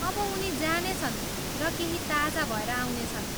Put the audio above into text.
अब उनी जानेछन् र केही ताजा भएर आउनेछन्।